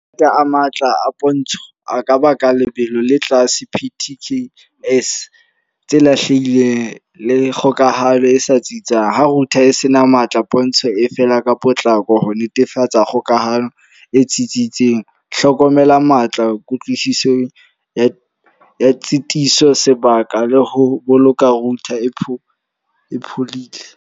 a matla a pontsho a ka ba ka lebelo le tlase P_T_K_S tse lahlehileng le kgokahanyo e sa tsitsang. Ha router e senang matla pontsho e fela ka potlako ho netefatsa kgokahanyo e tsitsitseng. Hlokomela matla, kutlwisiso ya tshitiso, sebaka le ho boloka router e phodile.